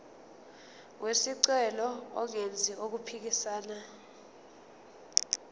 wesicelo engenzi okuphikisana